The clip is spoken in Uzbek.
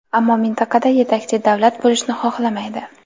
ammo mintaqada yetakchi davlat bo‘lishni xohlamaydi.